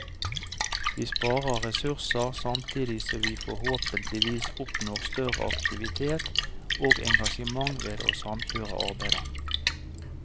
Vi sparer ressurser, samtidig som vi forhåpentligvis oppnår større aktivitet og engasjement ved å samkjøre arbeidet.